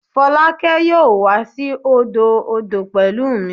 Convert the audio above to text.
Folake yoo wa si odo odo pẹlu mi